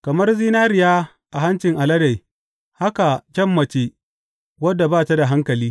Kamar zinariya a hancin alade haka kyan mace wadda ba ta da hankali.